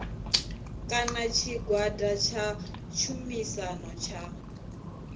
kana tshigwada tsha tshumisano tsha